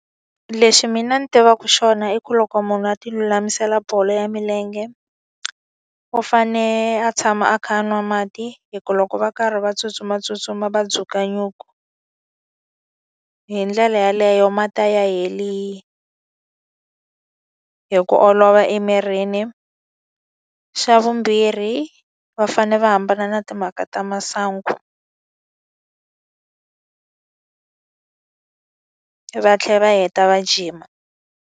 Lexi mina ni tivaku xona i ku loko munhu a ti lulamisela bolo ya milenge, u fane a tshama a kha a nwa mati. Hikuva loko va karhi va tsutsumatsutsuma va dzuka nyuku, hi ndlela yeleyo mati a ya heli hi ku olova emirini. Xa vumbirhi va fanele va hambana na timhaka ta masangu va tlhela va heta va jima.